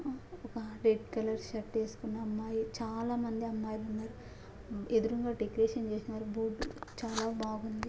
shirt వేసుకున్న అమ్మాయి ఒక రెడ్ కలర్ షర్ట్ వేసుకున్న అమ్మాయి చాలా మంది అమ్మాయిలు ఉన్నారు ఎదురుంగా డెకరేషన్ చేసారు భూ--